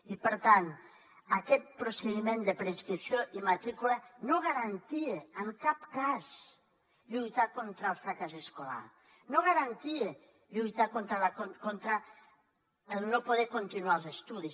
i per tant aquest procediment de preinscripció i matrícula no garantia en cap cas lluitar contra el fracàs escolar no garantia lluitar contra el no poder continuar els estudis